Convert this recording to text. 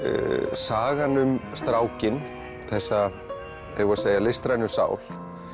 sagan um strákinn þessa listrænu sál